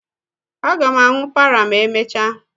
Aga m aṅụ párà ma emechaa